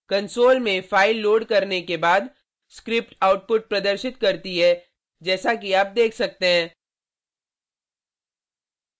console में file load करने के बाद स्क्रिप्ट आउटपुट प्रदर्शित करती है जैसा कि आप देख सकते है: